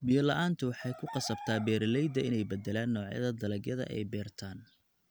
Biyo la'aantu waxay ku qasabtaa beeralayda inay beddelaan noocyada dalagyada ay beertaan.